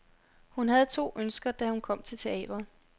Hun havde to ønsker, da hun kom til teatret.